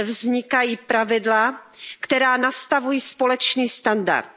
vznikají pravidla, která nastavují společný standard.